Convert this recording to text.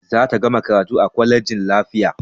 Za ta gama karatu a kwalejin lafiya